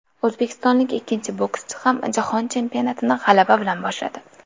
O‘zbekistonlik ikkinchi bokschi ham Jahon chempionatini g‘alaba bilan boshladi.